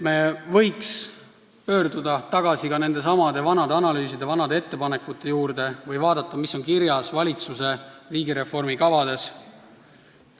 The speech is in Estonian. Me võiks pöörduda tagasi nendesamade vanade analüüside, vanade ettepanekute juurde või vaadata, mis on kirjas valitsuse riigireformi kavades.